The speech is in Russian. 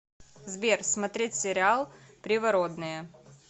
сбер смотреть сериал привородные